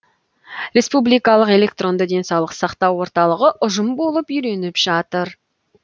республикалық электронды денсаулық сақтау орталығы ұжым болып үйреніп жатыр